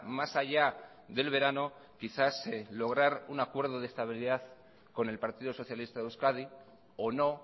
más allá del verano quizás lograr un acuerdo de estabilidad con el partido socialista de euskadi o no